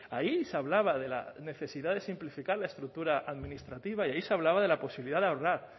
ahí se hablaba de la necesidad de simplificar la estructura administrativa y ahí se hablaba de la posibilidad de ahorrar